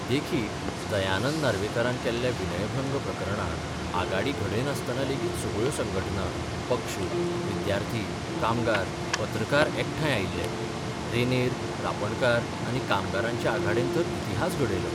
देखीक दयानंद नार्वेकारान केल्ल्या विनयभंग प्रकरणांत आघाडी घड्यनासतना लेगीत सगळ्यो संघटना, पक्ष, विद्यार्थी, कामगार, पत्रकार एकठांय आयिल्ले रेंदेर, रांपणकार आनी कामगारांचे आघाडेन तर इतिहास घडयलो.